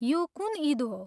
यो कुन इद हो?